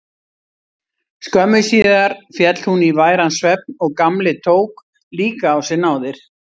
Skömmu síðar féll hún í væran svefn og Gamli tók líka á sig náðir.